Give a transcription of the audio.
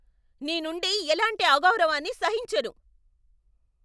నీ నుండి ఎలాంటి అగౌరవాన్ని సహించను.